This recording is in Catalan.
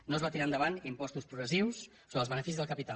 no es van tirar endavant impostos progressius sobre els beneficis del capital